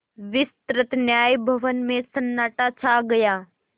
विस्तृत न्याय भवन में सन्नाटा छा गया